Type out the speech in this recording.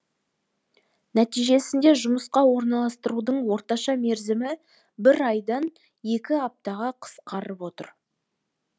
нәтижесінде жұмысқа орналастырудың орташа мерзімі бір айдан екі аптаға қысқарып отыр